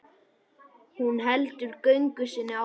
Hún heldur göngu sinni áfram.